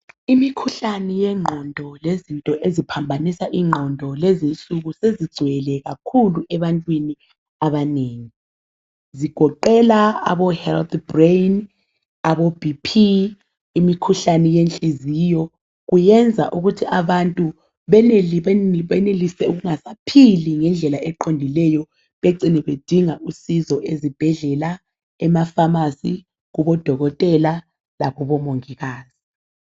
Imikhuhlane yengqondo lezinto eziphambanisa ingqondo lezinsuku sezigcwele kakhulu ebantwini abanengi. Zigoqela abo health brain, abo BP imikhuhlane yenhliziyo. Kuyenza ukuthi abantu benelise ukungasaphili ngendlela eqondileyo bedinga usizo ezibhedlela ema pharmacy kubodokotela lakubomonhikazi.